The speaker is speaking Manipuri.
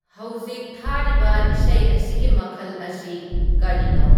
ꯍꯧꯖꯤꯛ ꯊꯥꯔꯤꯕ ꯏꯁꯩ ꯑꯁꯤꯒꯤ ꯃꯈꯜ ꯑꯁꯤ ꯀꯥꯔꯤꯅꯣ